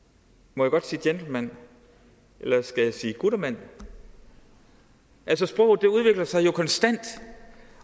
må jeg godt sige gentleman eller skal jeg sige guttermand altså sproget udvikler sig jo konstant